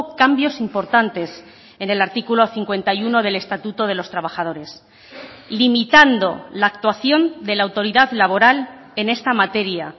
cambios importantes en el artículo cincuenta y uno del estatuto de los trabajadores limitando la actuación de la autoridad laboral en esta materia